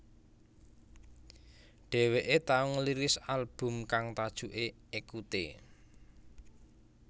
Dheweké tau ngerilis album kang tajuké Ekute